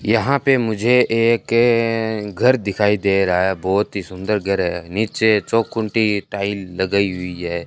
यहां पे मुझे एकए घर दिखाई दे रहा है बहोत ही सुंदर घर है नीचे चौंकुंटी टाइल लगाई हुई है।